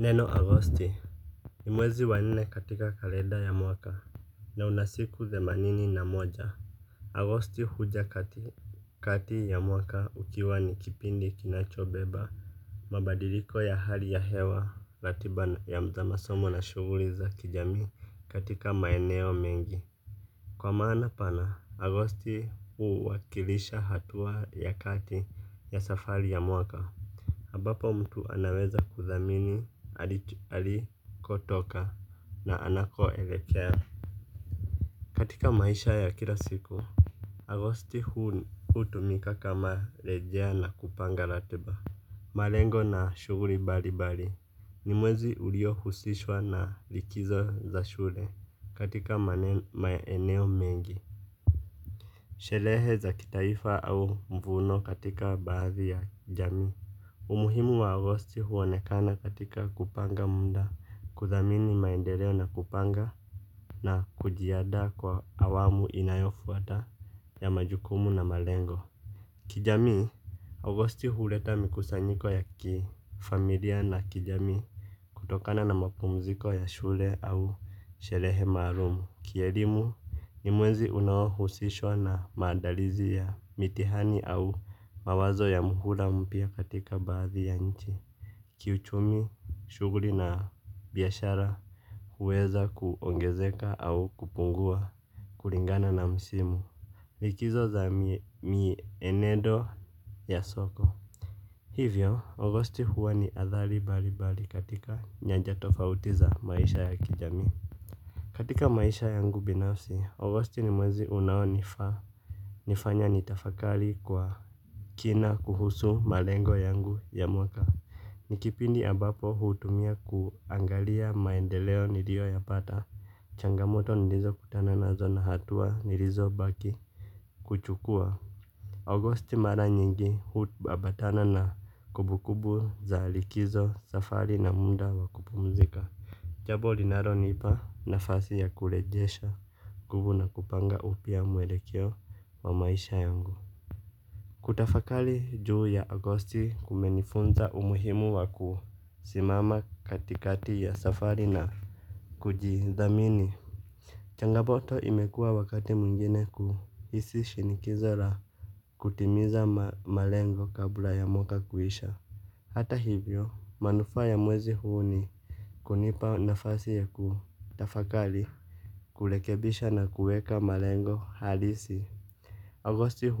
Neno Agosti, ni mwezi wa nne katika kalenda ya mwaka, na unasiku ze manini na moja Agosti huja kati ya mwaka ukiwa nikipindi kinachobeba, mabadiliko ya hali ya hewa, latiba ya za masomo na shuguliza kijami katika maeneo mengi. Kwa maana pana, Agosti huwakilisha hatua ya kati ya safari ya mwaka abapo mtu anaweza kuthamini alikotoka na anakoelekea katika maisha ya kila siku agosti hutumika kama rejea na kupanga latiba. Malengo na shuguri balibali. Ni mwezi ulio husishwa na likizo za shule katika maeneo mengi shelehe za kitaifa au mvuno katika baadhi ya jamii. Umuhimu wa Agosti huonekana katika kupanga munda kuthamini maendeleo na kupanga na kujiada kwa awamu inayofuata ya majukumu na malengo. Kijamii, Agosti huleta mikusanyiko ya kifamilia na kijamii kutokana na mapumziko ya shule au sherehe marumu. Kielimu ni mwenzi unawo husishwa na mandarizi ya mitihani au mawazo ya muhula mpya katika baadhi ya nchi. Kiuchumi, shuguri na biyashara huweza kuongezeka au kupungua kulingana na msimu. Likizo za mienendo ya soko. Hivyo, agosti huwa ni athali balibali katika nyanja tofautiza maisha ya kijami. Katika maisha yangu binafsi, agosti ni mwezi unawo nifanya nitafakali kwa kina kuhusu malengo yangu ya mwaka. Nikipindi abapo hutumia kuangalia maendeleo nilio ya pata, changamoto nilizo kutana nazo na hatua nilizo baki kuchukua agosti mara nyingi hutu abatana na kubu kubu za likizo safari na munda wa kupumzika. Jabo linalo nipa nafasi ya kulejesha guvu na kupanga upya mwelekeo wa maisha yangu. Kutafakali juu ya agosti kumenifunza umuhimu waku simama katikati ya safari na kujiithamini changomoto imekuwa wakati mwingine kuisi shinikizo la kutimiza malengo kabla ya mwka kuisha. Hata hivyo manufaa ya mwezi huu ni kunipa nafasi ya kuu tafakali kulekebisha na kueka malengo halisi. Agosti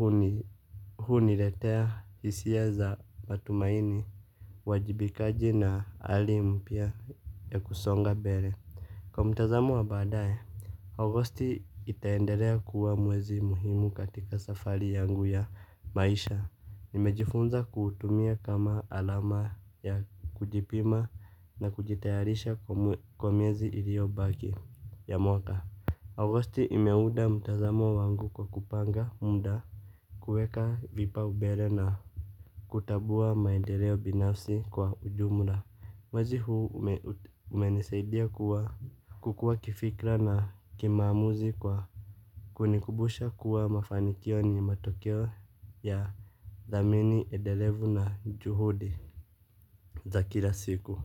huniletea hisia za matumaini, wajibikaji na ali mpya ya kusonga bere. Kwa mtazamo wa badaye, Agosti itaendelea kuwa mwezi muhimu katika safari yangu ya maisha. Nimejifunza kutumia kama alama ya kujipima na kujitayarisha kwa miezi ilio baki ya mwaka Agosti imeuda mutazamo wangu kwa kupanga munda kueka vipa ubele na kutabua maendeleo binafsi kwa ujumla mwwzi huu umenisaidia kuwa kukua kifikra na kimamuzi kwa kunikubusha kuwa mafanikio ni matokeo ya thamini edelevu na juhudi za kira siku.